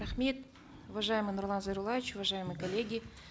рахмет уважаемый нурлан зайроллаевич уважаемые коллеги